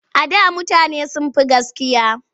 A da mutane sun fi gaskiya.